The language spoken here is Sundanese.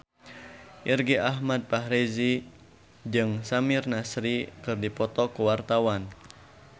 Irgi Ahmad Fahrezi jeung Samir Nasri keur dipoto ku wartawan